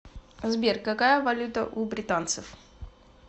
сбер какая валюта у британцев